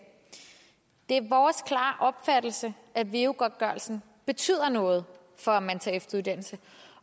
det er vores klare opfattelse at veu godtgørelsen betyder noget for at man tager en efteruddannelse